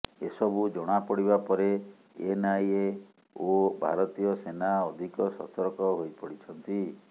ଏସବୁ ଜଣାପଡିବା ପରେ ଏନଆଇଏ ଓ ଭାରତୀୟ ସେନା ଅଧିକ ସତର୍କ ହୋଇପଡିଛନ୍ତି